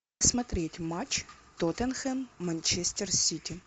смотреть матч тоттенхэм манчестер сити